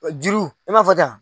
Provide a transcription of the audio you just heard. Juru i ma fɔ ten yan.